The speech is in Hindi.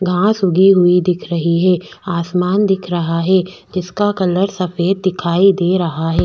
घास उगी हुई दिख रही है आसमान दिख रहा है इसका कलर सफ़ेद दिखाई दे रहा है।